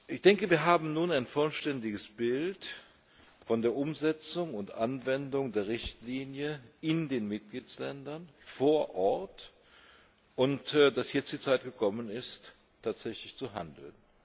Ich denke, wir haben nun ein vollständiges Bild von der Umsetzung und der Anwendung der Richtlinie in den Mitgliedsländern vor Ort und ich meine, dass jetzt die Zeit gekommen ist, tatsächlich zu handeln.